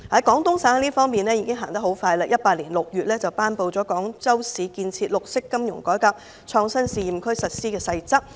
廣東省已經走得很快，在2018年6月已頒布"廣州市建設綠色金融改革創新試驗區"的實施細則。